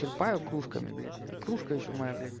черпаю кружками блядь и кружка ещё моя блять